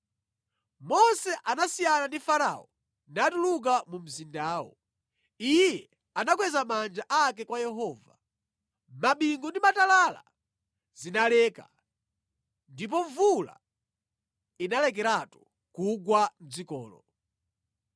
Mose anasiyana ndi Farao natuluka mu mzindawo. Iye anakweza manja ake kwa Yehova. Mabingu ndi matalala zinaleka, ndipo mvula inalekeratu kugwa mʼdzikolo.